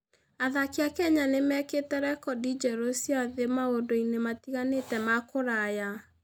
Athaki a Kenya nĩ mekĩte rekondi njerũ cia thĩ maũndũ-inĩ matiganĩte ma kũraya.